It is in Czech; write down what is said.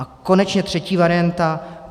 A konečně třetí varianta.